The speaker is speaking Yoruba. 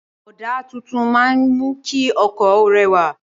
Ọ̀dà tuntun máa ń mú kí ọkọ̀ ó rẹwà.